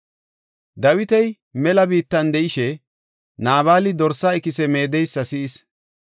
Dawiti mela biittan de7ishe, Naabali dorsaa ikise meedeysa si7is.